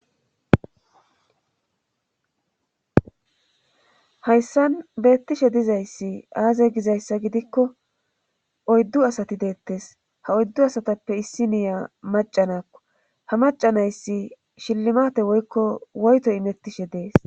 Hayssan beettishe dizayssi aazey gizayssa gidikko oyddu asati deettes ha oyddu asatappe issi niya macanakko ha macanayssi shillimate woykko woyto imettishe dees.